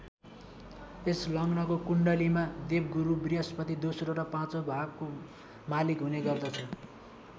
यस लग्नको कुण्डलीमा देवगुरु बृहस्पति दोस्रो र पाचौँ भावको मालिक हुने गर्दछ।